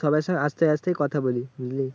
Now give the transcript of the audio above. সবাইয়ের সঙ্গে হাঁসতে হাঁসতেই কথা বলি, বুঝলি?